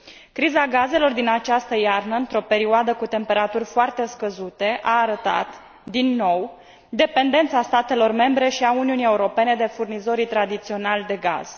Criza gazelor din această iarnă, într o perioadă cu temperaturi foarte scăzute, a arătat, din nou, dependența statelor membre și a Uniunii Europene de furnizorii tradiționali de gaz.